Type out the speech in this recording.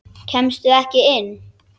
Kemstu ekki inn?